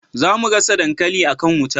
za mu gasa dankali a kan wuta